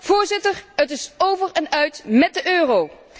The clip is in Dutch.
Voorzitter, het is over en uit met de euro.